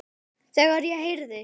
Þegar ég heyrði